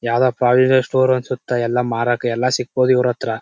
ಯಾವ್ದೋ provision store ಅನ್ಸುತ್ತಾ ಎಲ್ಲ ಮಾರಕ ಎಲ್ಲ ಸಿಗ್ಬಹುದು ಇವರತ್ರ.